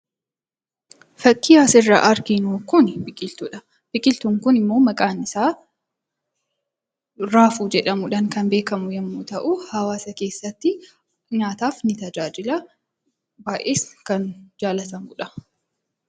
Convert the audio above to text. Fakkii asirraa arginu kuni biqiltuudha. Biqiltuun kun immoo maqaan isaa raafuu jedhamuudhaan kan beekamu yommuu ta'u, hawaasa keessatti nyaataaf ni tajaajila, baay'ees kan jaalatamudha.